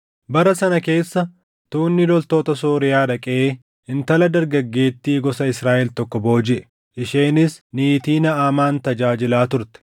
Bara sana keessa tuunni loltoota Sooriyaa dhaqee intala dargaggeettii gosa Israaʼel tokko boojiʼe; isheenis niitii Naʼamaan tajaajilaa turte.